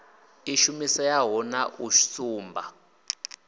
i shumiseaho na u sumba